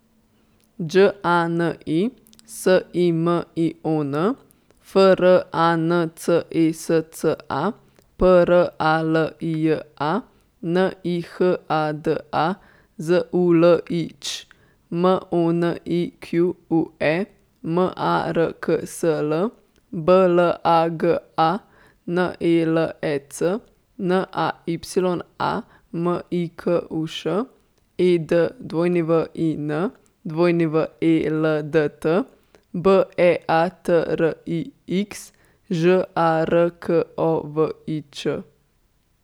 Đ A N I, S I M I O N; F R A N C E S C A, P R A L I J A; N I H A D A, Z U L I Ć; M O N I Q U E, M A R K S L; B L A G A, N E L E C; N A Y A, M I K U Š; E D W I N, W E L D T; B E A T R I X, Ž A R K O V I Č.